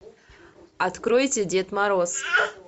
откройте дед мороз